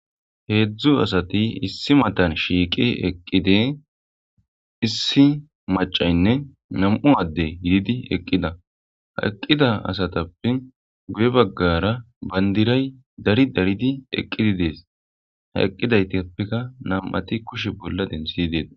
Hedzdzu asati issi matan shiiqi eqqidi issi maccaynne nam'u addey yiidi eqqida ha eqqida asatappe guye bagaara bandiray dari daridi eqqi de'es ha eqqidaytappeka nam'ati kushe bolla denththidi detees.